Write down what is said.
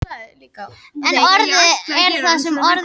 En orðið er það sem orðið er.